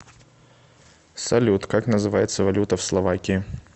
салют как называется валюта в словакии